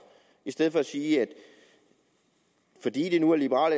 i stedet for at sige at fordi det nu er liberal